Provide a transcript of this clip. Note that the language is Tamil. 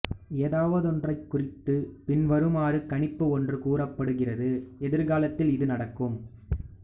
ஏதாவதொன்றைக்குறித்து பின்வருமாறு கணிப்பு ஒன்று கூறப்படுகிறது எதிர்காலத்தில் இது நடக்கும்